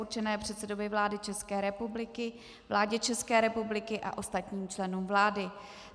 určené předsedovi vlády České republiky, vládě České republiky a ostatním členům vlády.